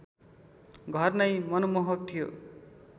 घर नै मनमोहक थियो